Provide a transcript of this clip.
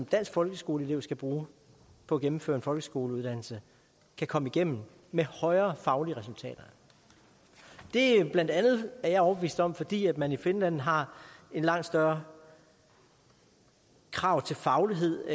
dansk folkeskoleelev skal bruge på at gennemføre en folkeskoleuddannelse kan komme igennem med højere faglige resultater det er bla er jeg overbevist om fordi man i finland har langt større krav til faglighed